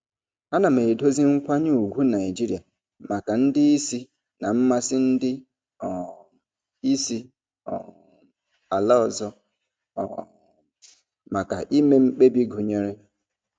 Ana m edozi nkwanye ùgwù Naijiria maka ndị isi na mmasị ndị um isi um ala ọzọ um maka ime mkpebi gụnyere.